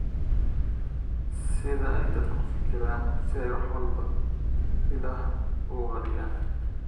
sida ay dadku u fikiraan si ay wax walba ilaah uga qariyaan